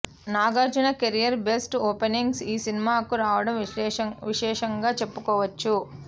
Nagarjuna career best openings ఈ సినిమాకు రావడం విశేషంగా చెప్పుకోవచ్చు